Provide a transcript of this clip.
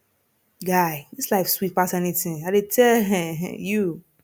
guy dis life sweet pass anything l dey tell um you